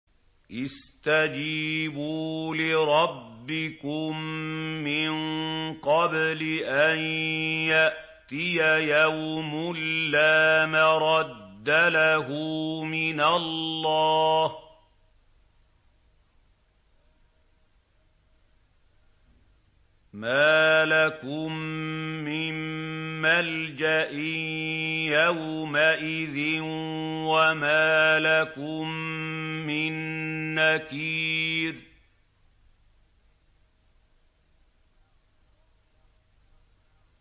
اسْتَجِيبُوا لِرَبِّكُم مِّن قَبْلِ أَن يَأْتِيَ يَوْمٌ لَّا مَرَدَّ لَهُ مِنَ اللَّهِ ۚ مَا لَكُم مِّن مَّلْجَإٍ يَوْمَئِذٍ وَمَا لَكُم مِّن نَّكِيرٍ